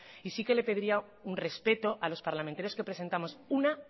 y sí que le pediría un respeto a los parlamentarios que presentamos una